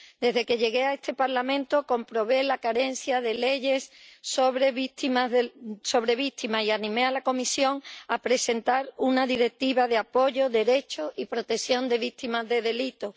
Desde que llegué a este Parlamento comprobé la carencia de leyes sobre víctimas y animé a la Comisión a presentar una directiva de apoyo, derecho y protección de víctimas de delitos.